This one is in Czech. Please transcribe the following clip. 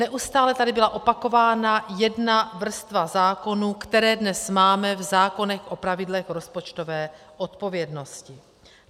Neustále tady byla opakována jedna vrstva zákonů, které dnes máme v zákonech o pravidlech rozpočtové odpovědnosti.